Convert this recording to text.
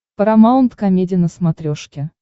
парамаунт комеди на смотрешке